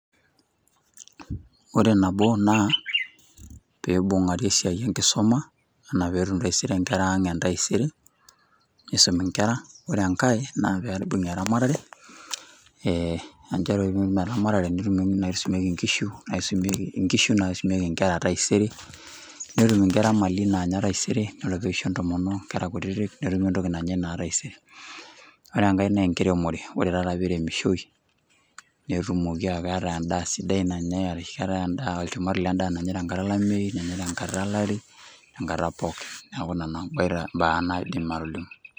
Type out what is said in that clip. Ore nabo naa, pee ibungari esiai enkisuma anaa peetum taata nkera ang entaisere .nibungi nkera. ore enkae, naa pee ibung'i eramatare. ore pee imbung eramatare, nisumieki nkishu nisumieki nkera taisere. ore peeisho ntomonok nkera kutitik, netumi entoki nanyae naa. Taisere ore enkae naa enkiremore ore taata pee iremishoi neeku keetae olchumati onyae tenkata olameyu, tenkata pookin. neeku Ina naa aidim atolimu.